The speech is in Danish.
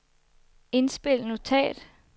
indspil notat